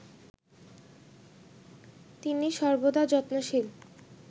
তিনি সর্বদা যত্নশীল